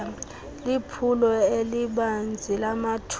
liphulo elibanzi lamathuba